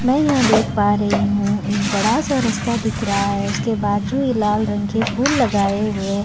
मै यहाँ देख पा रही हूँ एक बडा सा रस्ता दिख रहा हैउसके बाजू ये लाल रंग के फूल लगाए हुवे।